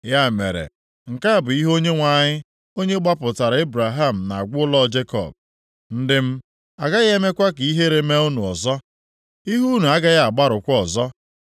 Ya mere, nke a bụ ihe Onyenwe anyị onye gbapụtara Ebraham na-agwa ụlọ Jekọb, “Ndị m, a gaghị emekwa ka ihere mee unu ọzọ. Ihu unu agaghị agbarụkwa ọzọ.